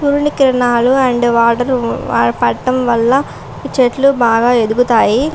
సూర్యకిరణాలు and water పడడం వలన చెట్లు బాగా ఎదుగుతాయి.